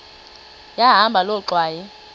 yahamba loo ngxwayi